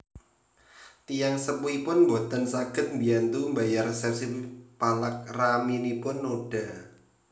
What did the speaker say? Tiyang sepuhipun boten saged mbiyantu mbayar resépsi palakraminipun Noda